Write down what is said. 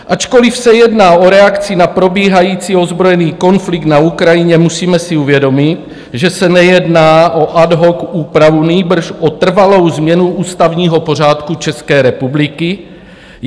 Ačkoliv se jedná o reakci na probíhající ozbrojený konflikt na Ukrajině, musíme si uvědomit, že se nejedná o ad hoc úpravu, nýbrž o trvalou změnu ústavního pořádku České republiky.